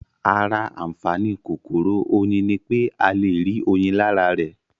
Ara àǹfàaní kòkòrò Oyin ní pé a le rí oyin lára rẹ̀